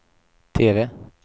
TV